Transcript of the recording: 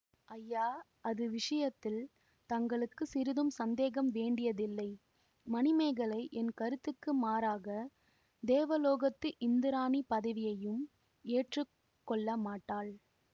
ஐயா அது விஷயத்தில் தங்களுக்கு சிறிதும் சந்தேகம் வேண்டியதில்லை மணிமேகலை என் கருத்துக்கு மாறாகத் தேவலோகத்து இந்திராணி பதவியையும் ஏற்று கொள்ள மாட்டாள்